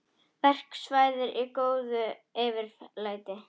Verkfallsverðir í góðu yfirlæti